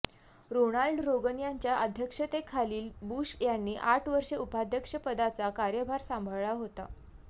Ronald Reagan यांच्या अध्यक्षतेखालील Bush यांनी आठ वर्षे उपाध्यक्षपदाचा कार्यभार सांभाळला होता